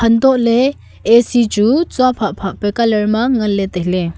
antole A_C chu chua pha pha pa colour ma nganley tailey.